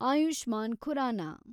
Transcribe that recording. Ayushman Khurana